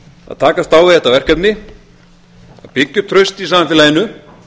að takast á við þetta verkefni að byggja upp traust í samfélaginu